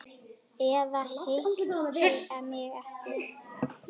Eða hitti mig ekki.